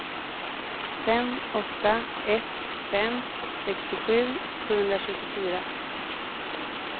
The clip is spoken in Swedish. fem åtta ett fem sextiosju sjuhundratjugofyra